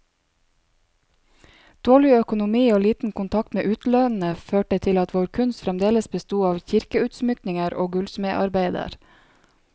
Dårlig økonomi og liten kontakt med utlandet, førte til at vår kunst fremdeles besto av kirkeutsmykninger og gullsmedarbeider.